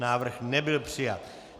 Návrh nebyl přijat.